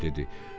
Qraf dedi: